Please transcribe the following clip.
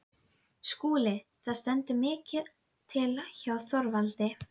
SKÚLI: Það stendur mikið til hjá Þorvaldi.